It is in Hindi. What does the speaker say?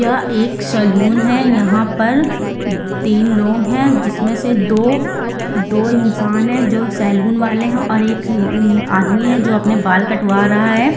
यह एक सलून है। यहां पर तीन लोग हैं जिसमें से दो दो इंसान है जो सलून वाले है और एक य आदमी है जो अपना बाल कटवा रहा है।